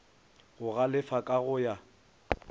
go galefa ka go ya